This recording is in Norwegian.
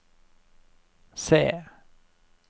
se